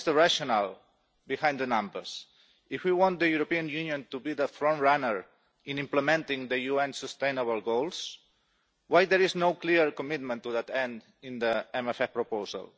What is the rationale behind the numbers? If we want the European Union to be the frontrunner in implementing the UN Sustainable Development Goals, why is there no clear commitment to that end in the MFF proposal?